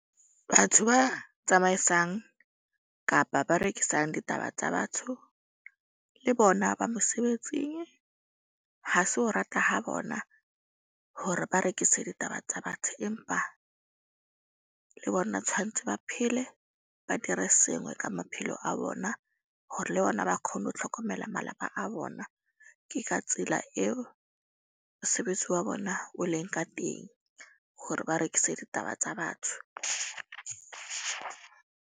Batho ba tsamaisang kapa ba rekisang ditaba tsa batho le bona ba mosebetsing. Ha se ho rata ha bona hore ba rekise ditaba tsa batho. Empa le bona tshwantse ba phele. Ba dire sengwe ka maphelo a bona. Hore le bona ba kgone ho tlhokomela malapa a bona. Ke ka tsela eo mosebetsi wa bona o leng ka teng hore ba rekise ditaba tsa batho.